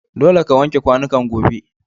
Dolle ka wanke kwanukan gobe.